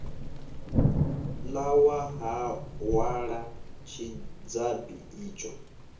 ḓa wa hwala tshidzabi itsho